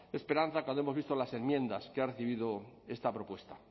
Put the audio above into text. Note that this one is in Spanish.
esperanza cuando hemos visto las enmiendas que ha recibido esta propuesta